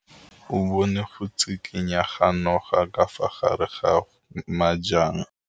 O bone go tshikinya ga noga ka fa gare ga majang.